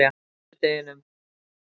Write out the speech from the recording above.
sunnudeginum